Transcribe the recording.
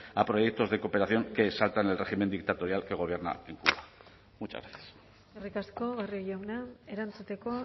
a proyectos de cooperación que saltan el régimen dictatorial que gobierna en cuba muchas gracias eskerrik asko barrio jauna erantzuteko